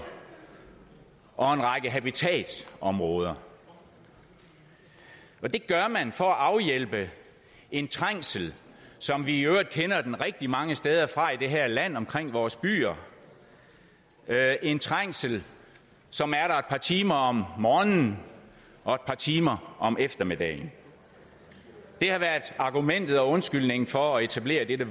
og en række habitatsområder det gør man for at afhjælpe en trængsel som vi i øvrigt kender den rigtig mange steder fra i det her land omkring vores byer det er en trængsel som er der et par timer om morgenen og et par timer om eftermiddagen det har været argumentet og undskyldningen for at etablere dette